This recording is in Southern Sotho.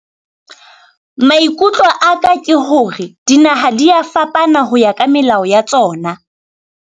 Maikutlo a ka ke hore dinaha di a fapana ho ya ka melao ya tsona.